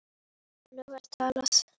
Svona var talað.